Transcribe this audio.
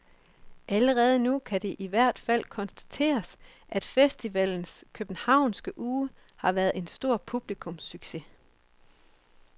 Allerede nu kan det i hvert fald konstateres, at festivalens københavnske uge har været en stor publikumssucces.